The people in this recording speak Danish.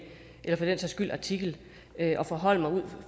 eller for den sags skyld artikel og forholde mig